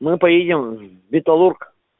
мы поедем в металлург